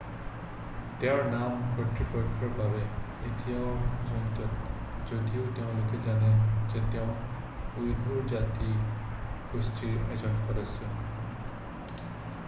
তেওঁৰ নাম কৰ্তৃপক্ষৰ বাবে এতিয়াও অজ্ঞাত যদিও তেওঁলোকে জানে যে তেওঁ উইঘুৰ জাতি গোষ্ঠিৰ এজন সদস্য